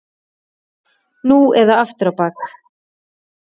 Nú eða aftur á bak!